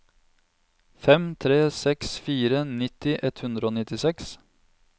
fem tre seks fire nitti ett hundre og nittiseks